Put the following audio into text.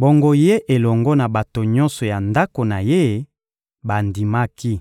Bongo ye elongo na bato nyonso ya ndako na ye bandimaki.